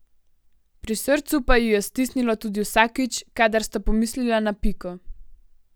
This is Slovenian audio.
Pri srcu pa ju je stisnilo tudi vsakič, kadar sta pomislila na Piko.